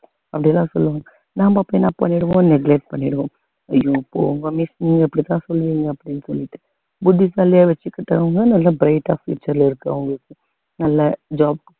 அப்படி எல்லாம் சொல்லுவாங்க நாம அப்படி என்ன பண்ணிடுவோம்னு break பண்ணிடுவோம் ஐயோ போங்க miss நீங்க அப்படித்தான் சொல்லுவீங்க அப்படின்னு சொல்லிட்டு புத்திசாலியா வச்சுக்கிட்டவங்க நல்ல bright ஆ future ல இருக்கு அவங்களுக்கு நல்ல job க்கு